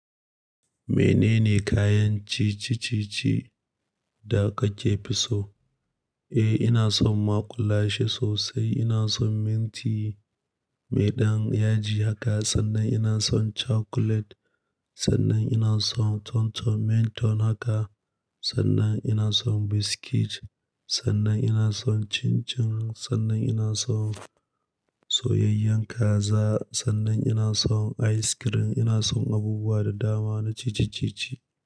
Menene kayan ciye ciye da kake so? Eh, ina son maƙulashe sosai. Ina son minti mai ɗan yaji haka sannan ina son cakulet sannan ina son ton ton, mint ton haka sannan ina son biskit sannan ina son cin cin sannan ina son soyayyen kaza sannan ina son ice cream ina son abubuwa da dama na ciccice-ciccice.